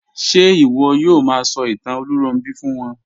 Ṣe iwọ yoo ma sọ itan Olunronbi fun wọn?